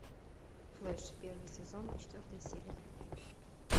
флэш первый сезон четвертая серия